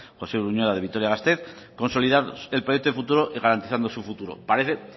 josé uruñuela de vitoria gasteiz consolidar el proyecto de futuro garantizando su futuro parece